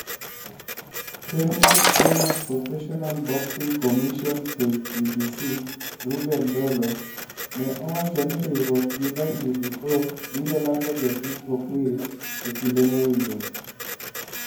Ker mar Kenya Professional Boxing Commission (KPBC), Reuben Ndolo ne owacho ni riwruok gi WBO biro lando jasik Okwiri e kinde mowinjore.